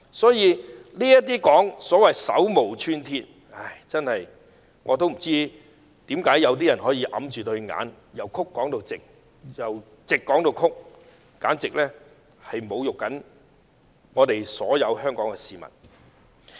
所以，有人說這些人手無寸鐵，我不知道為何會有人掩着雙眼，把曲的說成直，把直的說成曲，簡直是侮辱所有香港市民。